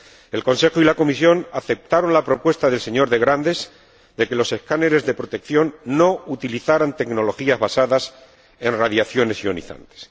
El Consejo y la Comisión aceptaron la propuesta del señor de Grandes de que los escáneres de protección no utilizaran tecnologías basadas en radiaciones ionizantes.